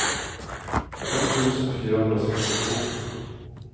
fem tusen fyrahundrasextiotvå